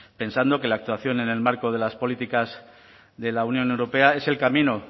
pensando que la actuación en el marco de las políticas de la unión europea es el camino